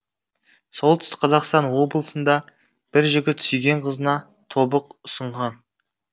солтүстік қазақстан облысында бір жігіт сүйген қызына тобық ұсынған